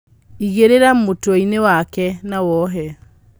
Igĩrĩra mũtweinĩ wake na wohe.